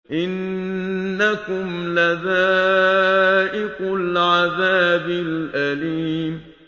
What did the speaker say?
إِنَّكُمْ لَذَائِقُو الْعَذَابِ الْأَلِيمِ